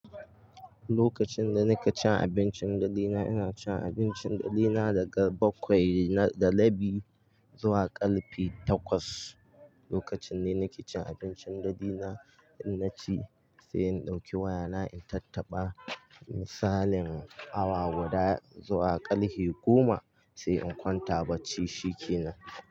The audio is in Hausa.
Lokacin da nika cin abincin dadina, ina cin abincin dadina daga bakwai da rabi zuwa karfe takwas. Lokacin ne nake cin abincin dadina, inna ci sai in ɗauki wayana in tattaba misalin awa guda zuwa ƙalhi goma sai in kwanta bacci, shikenan.